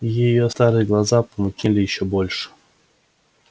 её старые глаза помутнели ещё больше